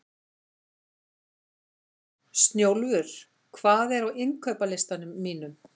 Snjólfur, hvað er á innkaupalistanum mínum?